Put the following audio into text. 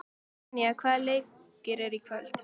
Tanja, hvaða leikir eru í kvöld?